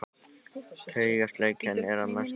Taugaslekjan er að mestu leyti horfin.